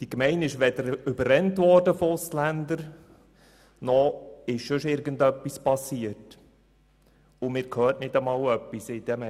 Weder wurde diese Gemeinde von Ausländern überrannt, noch ist sonst irgendetwas passiert, und man hört nicht einmal irgendetwas in den Medien.